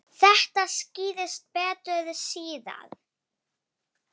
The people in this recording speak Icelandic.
Þetta skýrist betur síðar.